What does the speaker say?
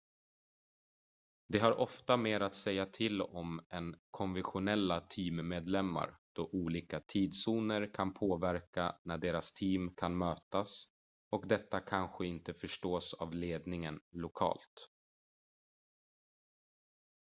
de har ofta mer att säga till om än konventionella teammedlemmar då olika tidszoner kan påverka när deras team kan mötas och detta kanske inte förstås av ledningen lokalt